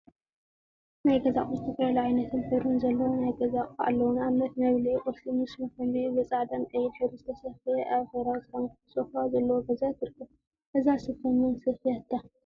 ናይ ገዛ አቁሑ ዝተፈላለዩ ዓይነትን ሕብሪን ዘለዎም ናይ ገዛ አቁሑ አለው፡፡ ንአብነት መብልዒ ቁርሲ ምስ መከምብይኡ ብፃዕዳን ቀይሕን ሕብሪ ዝተሰፈየ አበ ሕብራዊ ሰራሚክ ሶፋ ዘለዎ ገዛ ትርከብ፡፡ እዛ ስፈ መን ሰፍያታ?